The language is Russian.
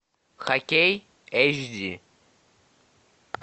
хоккей эйч ди